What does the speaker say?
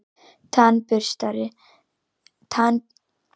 Tannburstarnir stífir af ryki.